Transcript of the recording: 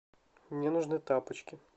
мне нужны тапочки